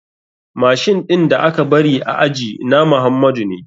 Machine ɗin da aka bari a aji na muhamadu ne.